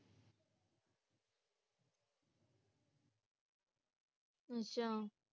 ਅੱਛਾ